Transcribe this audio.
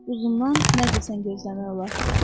Uzundan nə desən gözləmək olar.